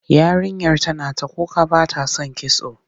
Yarinyar tana ta kuka ba ta son kitso.